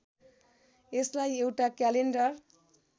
यसलाई एउटा क्यालेन्डर